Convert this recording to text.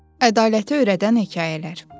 Ədaləti öyrədən hekayələr.